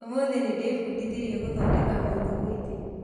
ũmũthĩ nĩndĩbundithirie gũthondeka mũthugwiti